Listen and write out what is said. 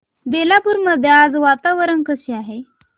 बेलापुर मध्ये आज वातावरण कसे आहे